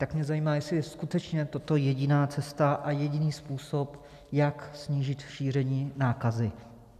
Tak mě zajímá, jestli je skutečně toto jediná cesta a jediný způsob, jak snížit šíření nákazy.